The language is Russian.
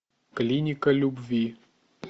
клиника любви